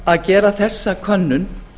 að gera þessa könnun